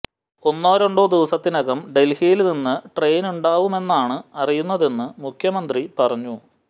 ഒന്നോ രണ്ടോ ദിവസത്തിനകം ഡല്ഹിയില് നിന്ന് ട്രെയിനുണ്ടാവുമെന്നാണ് അറിയുന്നതെന്ന് മുഖ്യമന്ത്രി പറഞ്ഞു